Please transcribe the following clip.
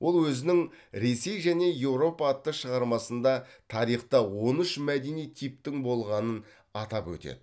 ол өзінің ресей және еуропа атты шығармасында тарихта он үш мәдени типтің болғанын атап өтеді